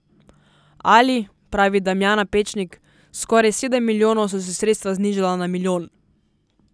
Ali, pravi Damjana Pečnik, s skoraj sedem milijonov so se sredstva znižala na milijon.